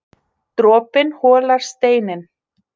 Dropinn holar steininn